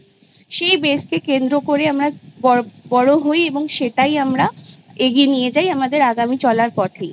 সেই Base কে কেন্দ্র করে আমরা বড়ো হয় এবং সেটাই আমরা এগিয়ে নিয়ে যাই আমাদের আগামী চলার পথেই